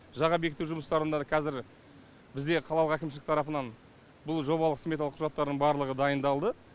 жаға бекіту жұмыстарында қазір бізге қалалық әкімшілік тарапынан бұл жобалық сметалық құжаттары барлығы дайындалды